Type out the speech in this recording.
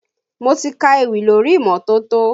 Mo ti ka ewì lórí imọtoto